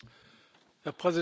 Herr Präsident!